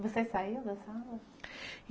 Você saiu da sala?